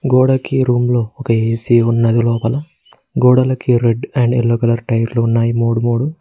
గోడకి రూమ్ లో ఒక ఏ_సీ ఉన్నది లోపల గోడలకి రెడ్ అండ్ యెల్లో కలర్ టైర్లు ఉన్నాయి మూడు మూడు